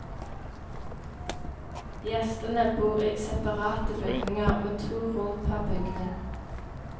Gjestene bor i separate bygninger med to rom per bygning.